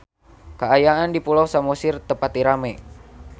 Kaayaan di Pulau Samosir teu pati rame